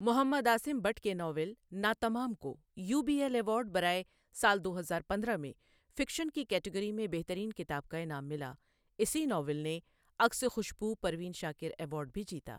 محمد عاصم بٹ کے ناول ناتمام کو UBL award ایوارڈ برائے سال دو ہزار پندرہ میں فکشن کی کیٹگری میں بہترین کتاب کا انعام ملا، اسی ناول نے عکس خوشبو پروین شاکر ایوارڈ بھی جیتا ۔